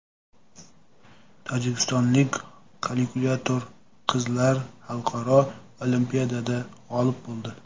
Tojikistonlik kalkulyator qizlar xalqaro olimpiadada g‘olib bo‘ldi.